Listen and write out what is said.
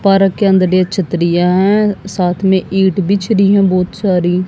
Park के अंदर एक छतरियां हैं साथ मे ईंट बिछ रही हैं बहुत सारी।